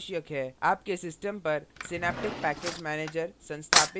package system पर synaptic package manager संस्थापित होना चाहिए